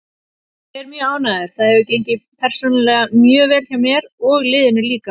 Ég er mjög ánægður, það hefur gengið persónulega mjög vel hjá mér og liðinu líka.